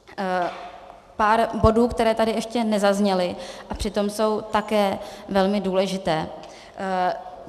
Pár bodů, které tady ještě nezazněly a přitom jsou také velmi důležité.